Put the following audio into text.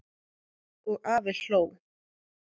Og afi hló.